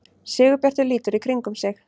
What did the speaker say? Sigurbjartur lítur í kringum sig.